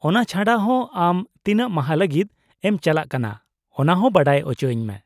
-ᱚᱱᱟ ᱪᱷᱟᱰᱟ ᱦᱚᱸ , ᱟᱢ ᱛᱤᱱᱟᱹᱜ ᱢᱟᱦᱟ ᱞᱟᱜᱤᱫ ᱮᱢ ᱪᱟᱞᱟᱜ ᱠᱟᱱᱟ ᱚᱱᱟ ᱦᱚᱸ ᱵᱟᱰᱟᱭ ᱚᱪᱚᱧ ᱢᱮ ᱾